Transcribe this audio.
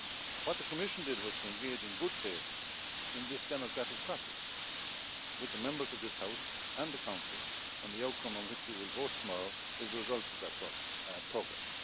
What the Commission did was to engage in good faith in this democratic process with the Members of this House and the Council, and the outcome on which you will vote tomorrow is the result of that progress.